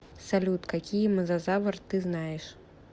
салют какие мозазавр ты знаешь